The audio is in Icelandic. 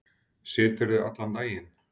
Siturðu allan daginn?